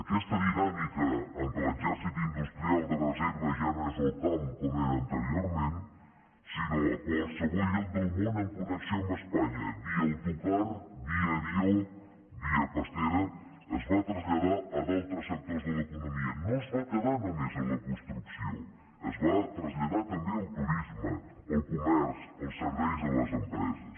aquesta dinàmica en què l’exèrcit industrial de reserva ja no és al camp com era anteriorment sinó a qualsevol lloc del món en connexió amb espanya via autocar via avió via pastera es va traslladar a d’altres sectors de l’economia no es va quedar només en la construcció es va traslladar també al turisme al comerç als serveis a les empreses